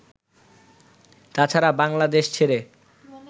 তাছাড়া বাংলাদেশ ছেড়ে